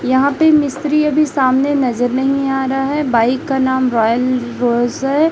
यहां पे मिस्त्री अभी सामने नजर नहीं आ रहा है बाइक का नाम रॉयल रिवर्स है।